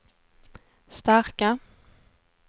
starka